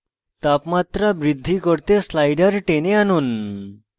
তাপমাত্রা বৃদ্ধি করতে slider টেনে আনুন